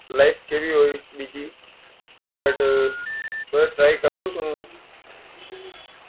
life કેવી હોય છે busy but પણ try કરું છું હું